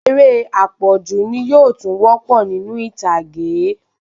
Eré apọju ni yóò tún wopo ninu ìtàgé